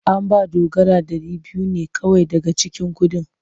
An ba Dogara dari biyu ne kawai daga cikin kudin.